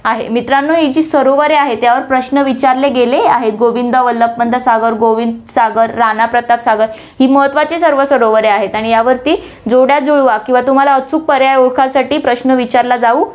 आहे. मित्रांनो, ही जी सरोवरे आहे, त्यावर प्रश्न विचारले गेले आहेत, गोविंद वल्लभ पंत सागर, गोविंद सागर, राणाप्रताप सागर ही महत्वाची सर्व सरोवरे आहेत आणि यावरती जोड्या जुळवा किंवा तुम्हाला अचूक पर्याय ओळखासाठी प्रश्न विचारलं जाऊ